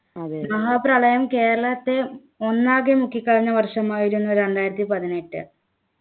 മഹാപ്രളയം കേരളത്തെ ഒന്നാകെ മുക്കിക്കളഞ്ഞ വർഷമായിരുന്നു രണ്ടായിരത്തി പതിനെട്ട്